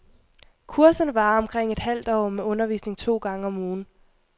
Kurserne varer omkring et halvt år med undervisning to gange om ugen.